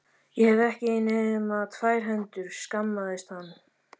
Ég hef ekki nema tvær hendur, skammaðist hann.